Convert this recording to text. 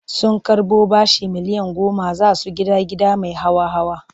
Sun karɓo bashin miliyan goma za su gida gida mai hawa-hawa.